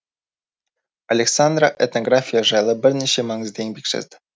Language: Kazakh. александра этнография жайлы бірнеше маңызды еңбек жазды